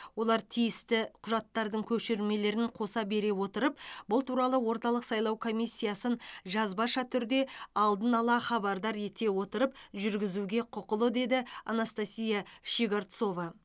олар тиісті құжаттардың көшірмелерін қоса бере отырып бұл туралы орталық сайлау комиссиясын жазбаша түрде алдын ала хабардар ете отырып жүргізуге құқылы деді анастасия щегорцова